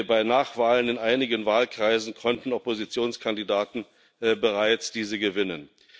Bei Nachwahlen in einigen Wahlkreisen konnten Oppositionskandidaten diese bereits gewinnen.